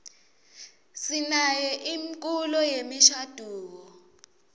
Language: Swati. sinayo imkulo yemishaduo